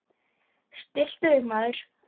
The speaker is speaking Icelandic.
Stilltu þig, maður!